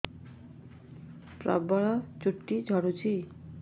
ପ୍ରବଳ ଚୁଟି ଝଡୁଛି